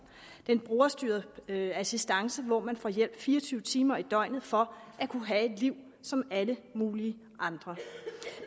det er en brugerstyret assistance hvor man får hjælp fire og tyve timer i døgnet for at kunne have et liv som alle mulige andre